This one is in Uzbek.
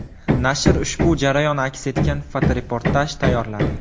Nashr ushbu jarayon aks etgan fotoreportaj tayyorladi.